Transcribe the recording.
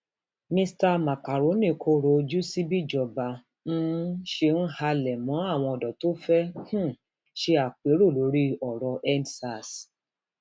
mr macaroni kọrọ ojú sí bíjọba um ṣe ń halẹ mọ àwọn ọdọ tó fẹẹ um ṣe àpérò lórí ọrọ endsars